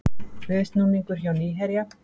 Viðsnúningur hjá Nýherja